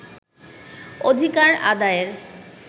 অধিকার আদায়ের